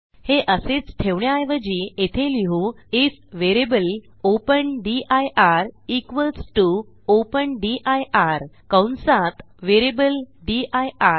हे असेच ठेवण्याऐवजी येथे लिहू I F variable open dir equals T O open dir कंसात व्हेरिएबल दिर